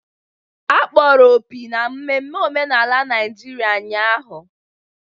Akpọrọ opi na mmemme omenala Naijiria ụnyahụ.